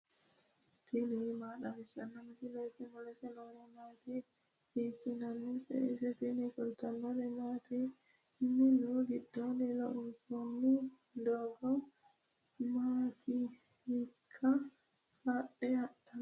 tini maa xawissanno misileeti ? mulese noori maati ? hiissinannite ise ? tini kultannori mattiya? minu giddonni loonsoonni doogo mamitte? hiikka haadhe hadhannotte?